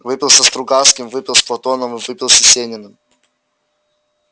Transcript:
выпил со стругацкими выпил с платоновым выпил с есениным